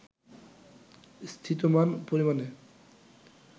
স্থিতমান পরিমাণে